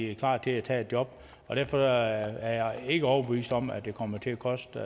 er klar til at tage et job og derfor er jeg ikke overbevist om at det kommer til at koste